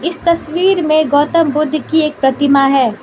इस तस्वीर में गौतम बुद्ध की एक प्रतिमा है।